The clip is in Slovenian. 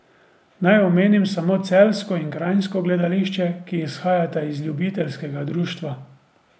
Naj omenim samo celjsko in kranjsko gledališče, ki izhajata iz ljubiteljskega društva.